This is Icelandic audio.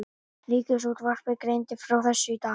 Ríkisútvarpið greindi frá þessu í dag